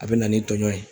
A bɛ na ni tɔɲɔn ye